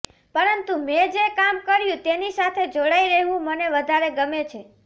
પરંતુ મેં જે કામ કર્યું તેની સાથે જોડાઈ રહેવું મને વધારે ગમે છે